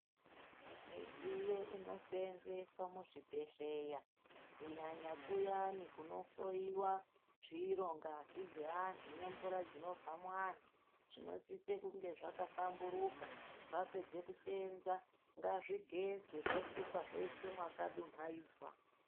Midziyo inoseenzeswa muzvibhedhleya, kunyanya kuyani kunohloyiwa zviro, ngazi dzeanhu, nemvura dzinobva muanhu zvinosise kunge zvakahlamburuka. Zvapedze kuseenza ngazvigezwe, zvosukwa zvoiswe mwakadumhaidzwa.